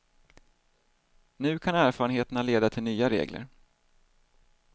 Nu kan erfarenheterna leda till nya regler.